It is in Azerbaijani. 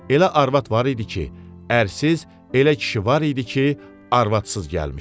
Elə arvad var idi ki, ərsiz, elə kişi var idi ki, arvadsız gəlmişdi.